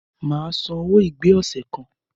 Màá san owo ìgbé ọ̀sẹ̀ kan.